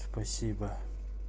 спасибо